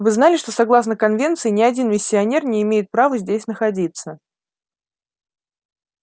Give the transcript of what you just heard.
вы знали что согласно конвенции ни один миссионер не имеет права здесь находиться